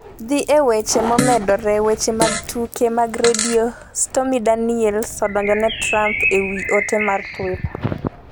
Dhi e weche momedore Weche mag tuke mag redio. Stormy Daniels odonjone Trump e wi ote mar Twitter